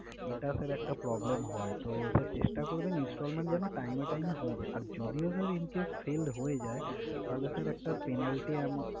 এটা sir একটা problem হয়। তো sir চেস্টা করবেন installment যেনো time এ time এ হয়ে যায়। আর যদিও sir encase fail হয়ে যায়, তাহলে sir একটা penalty amou~